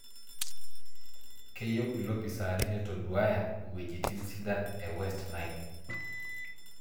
Keyieu iloopisani neitoduaaya iwuejitin sidan e West Nile.